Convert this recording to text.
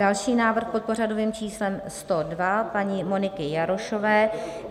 Další návrh, pod pořadovým číslem 102 paní Moniky Jarošové.